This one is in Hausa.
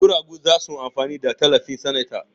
Guragu za su amfana da tallafin sanata.